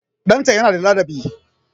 Ɗanta yana da ladabi